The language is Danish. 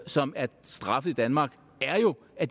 som er straffet i danmark er jo at